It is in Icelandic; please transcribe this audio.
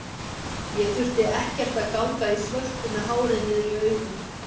Ég þurfti ekkert að ganga í svörtu með hárið niður í augum.